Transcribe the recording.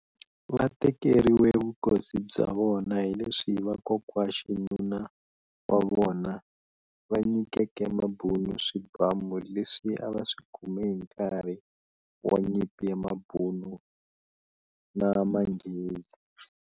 Vatekeriwe vukosi bya vona hileswi vakokwaxinuna wa vona, va nyikeke Mabhunu swibhamu leswi a vaswikume hinkarhi wa nyimpi ya Mabhunu na Manghezi.